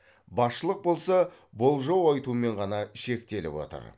басшылық болса болжау айтумен ғана шектеліп отыр